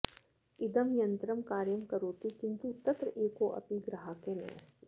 इदं यन्त्रं कार्यं करोति किन्तु तत्र एकोऽपि ग्राहकः नास्ति